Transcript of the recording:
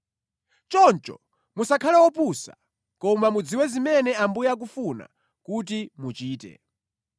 Choncho musakhale opusa, koma mudziwe zimene Ambuye akufuna kuti muchite.